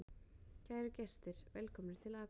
Kæru gestir! Velkomnir til Akureyrar.